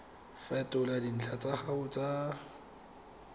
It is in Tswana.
fetola dintlha tsa gago tsa